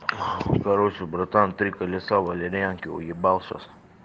короче братан три колеса валерьянки уебал сейчас